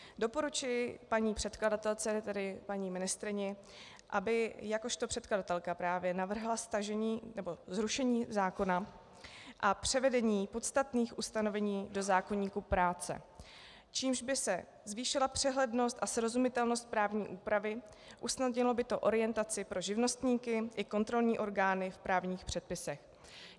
Doporučuji paní předkladatelce, tedy paní ministryni, aby jakožto předkladatelka právě navrhla zrušení zákona a převedení podstatných ustanovení do zákoníku práce, čímž by se zvýšila přehlednost a srozumitelnost právní úpravy, usnadnilo by to orientaci pro živnostníky i kontrolní orgány v právních předpisech.